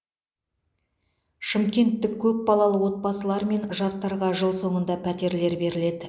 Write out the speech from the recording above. шымкенттік көпбалалы отбасылар мен жастарға жыл соңында пәтерлер беріледі